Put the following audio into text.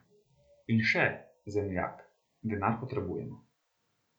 In še, zemljak, denar potrebujemo.